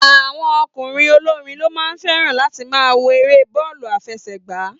Àwọn ọkùnrin ogorin lo ma feran láti ma wo èrè bọọlu afesegba